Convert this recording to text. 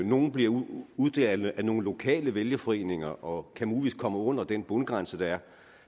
nogle bliver uddelt af nogle lokale vælgerforeninger og kan muligvis komme under den bundgrænse der